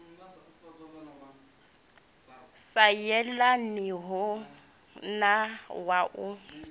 sa yelaniho na wa u